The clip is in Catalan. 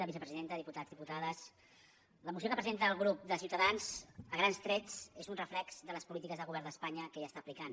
vicepresidenta diputats diputades la moció que presenta el grup de ciutadans a grans trets és un reflex de les polítiques del govern d’espanya que ja està aplicant